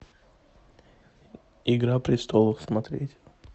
игра престолов смотреть